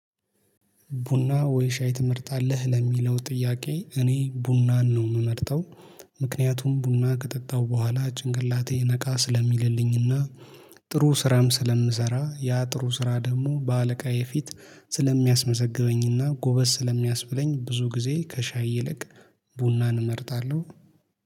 ቡና ወይ ሻይ ትመርጣለህ? ለሚለው ጥያቄ እኔ ቡናን ነው የምመርጠው። ምክንያቱም ቡና ከጠጣው በኋላ ጭንቅላቴ ነቃ ስለሚልልኝና። ጥሩ ስራም ስለምሰራ ያ ጥሩ ስራ ደግሞ በአለቃ የፊት ስለሚያስመዘግበኝና ጎበዝ ስለሚያስብለኝ ብዙ ጊዜ ከሻይ ይለቅ ቡናን እመርጣለሁ